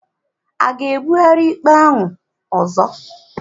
A ga-ebugharị ikpe ahụ ọzọ?